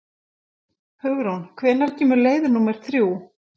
Hugrún, hvenær kemur leið númer þrjú?